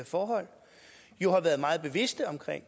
forhold har været meget bevidste om at